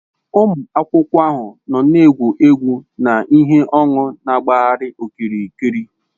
Ụmụ akwụkwọ ahụ nọ n'egwegwu na ihe ọn̄ụ na-agbagharị okirikiri